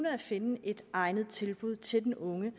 at finde et egnet tilbud til den unge